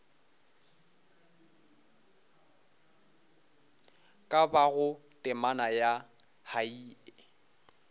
ka bago temana ya hei